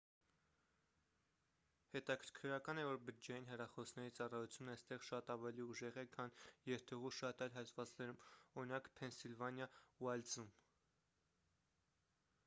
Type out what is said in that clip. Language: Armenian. հետաքրքրական է որ բջջային հեռախոսների ծառայությունն այստեղ շատ ավելի ուժեղ է քան երթուղու շատ այլ հատվածներում օրինակ ՝ փենսիլվանիա ուայլդզում: